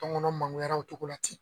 Tɔnkɔnɔ mangyara o togo la ten